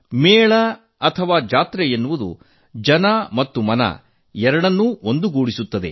ಮೇಳಜಾತ್ರೆ ಎನ್ನುವುದು ಜನಮನ ಎರಡನ್ನೂ ಒಂದುಗೂಡಿಸುತ್ತದೆ